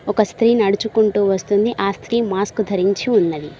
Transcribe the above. ఒక స్త్రీ నడుచుకుంటూ వస్తుంది ఆ స్త్రీ మాస్క్ ధరించి ఉన్నది.